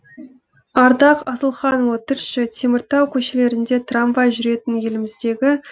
ардақ асылханұлы тілші теміртау көшелерінде трамвай жүретін